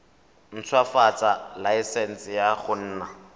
ntshwafatsa laesense ya go nna